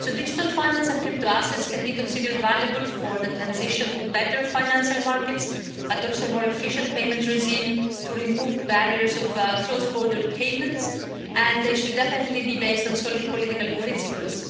Digital finance and crypto assets can be considered valuable for the transition to better financial markets, but also a more efficient payment regime to remove barriers of cross border payments, and they should definitely be based on solid political principles.